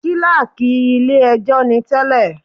Kílákì ilé ẹjọ́ ni tẹ́lẹ̀.